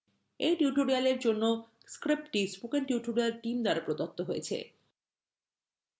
এই tutorial জন্য script spoken tutorial team দ্বারা প্রদত্ত হয়েছে